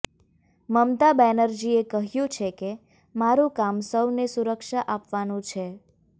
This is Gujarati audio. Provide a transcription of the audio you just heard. મમતા બેનર્જીએ કહ્યું છે કે મારું કામ સૌને સુરક્ષા આપવાનું છે